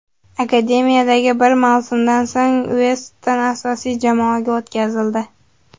Akademiyadagi bir mavsumdan so‘ng Ueston asosiy jamoaga o‘tkazildi.